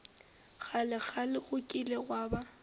kgalekgale go kile gwa ba